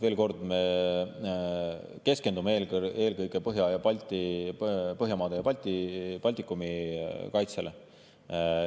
Veel kord: me keskendume eelkõige Põhjamaade ja Baltikumi kaitsele.